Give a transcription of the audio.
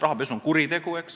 Rahapesu on kuritegu.